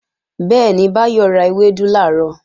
Bẹ́ẹ̀ni, Báyọ̀ ra ewédú làárọ̀